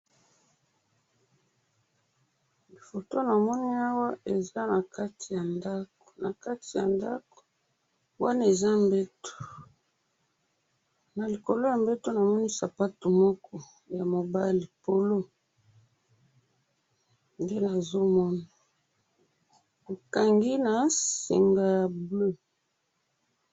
Photo namoni awa ,eza na kati ya ndaku, na kati ya ndaku wana eza mbetu na likolo ya mbetu namoni sapato moko ya mobali polo nde nazo mona ekangi na singa ya bleu